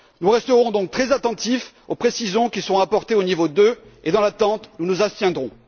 Nous resterons donc très attentifs aux précisions qui seront apportées au niveau deux et dans l'attente, nous nous abstiendrons.